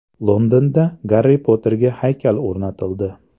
Londonda Garri Potterga haykal o‘rnatildi.